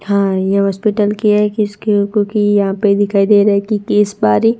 हां यह हॉस्पिटल की है किस बारी--